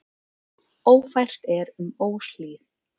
Ófært er um Óshlíð.